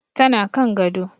Tana kan gado.